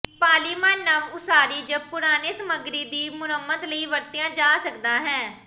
polymer ਨਵ ਉਸਾਰੀ ਜ ਪੁਰਾਣੇ ਸਮੱਗਰੀ ਦੀ ਮੁਰੰਮਤ ਲਈ ਵਰਤਿਆ ਜਾ ਸਕਦਾ ਹੈ